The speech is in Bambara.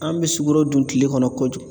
An bɛ sukoro dun tile kɔnɔ kojugu.